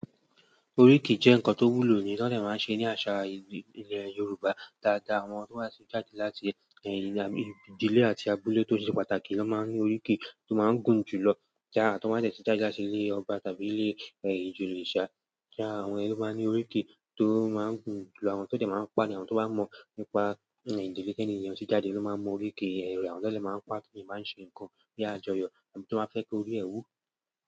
Oríki jẹ nkán tó wúló ni wòn dẹ má n sé ni àsá èdè ilẹ Yoruba dàdá áwòn tó má n jádé láti ìdílé áti àbúlé tó ni pàtáki wòn má n ni oríkè tó má n gún julọ, àwòn tó má n dẹ tí jádé láti ilé òbá tàbí ilé ijoyẹ sa àwọn yẹn lo má n ni oríki tó má n gún julọ àwọn tó dẹ má n pa ni àwọn tó ba mọ nípá idilè tẹni yèn tó jádé ló má n mọ oríki àwọn lo dẹ má n pá ti wòn má n sé nǹkan bi àjọyọ̀ àbí tiwon ba fẹ ki óri ẹ wú.